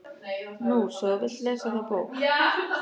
Nú svo þú vilt lesa þá bók.